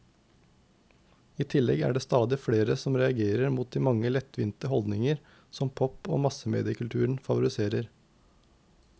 I tillegg er det stadig flere som reagerer mot de mange lettvinte holdninger som pop og massemediekulturen favoriserer.